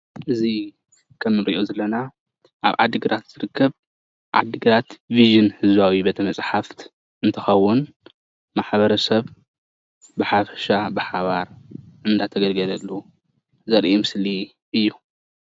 እዚ ከምእንሪኦ ዘለና ኣብ ዓዲግራት ዝርከብ ዓዲግራት ቪዥን ህዝባዊ ቤተ መፅሓፍ እንትከውን ማሕበረሰብ ብሓፈሻ ብሓባር እናተገልግለሉ ዘርኢ ምስሊ እዩ፡፡